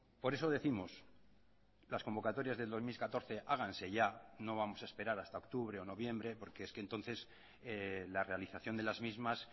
por eso décimos las convocatorias del dos mil catorce háganse ya no vamos a esperar hasta octubre o noviembre porque es que entonces la realización de las mismas